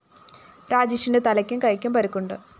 രാജേഷിന്റെ തലയ്ക്കും കൈയ്ക്കും പരിക്കുണ്ട്